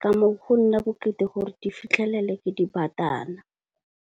ka moo go nna bokete gore di fitlhelele ke dibatana.